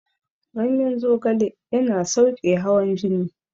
Ganyen zogale yana sauƙe hawan jini